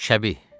Şəbih!